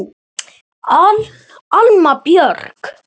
Alma Björk.